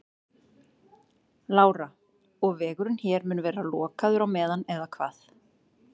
Lára: Og vegurinn hér mun vera lokaður á meðan eða hvað?